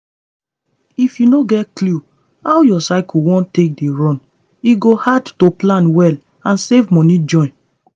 if you no get clue how your cycle won take dey run e go hard to plan well and save money join.